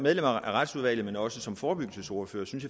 af retsudvalget men også som forebyggelsesordfører synes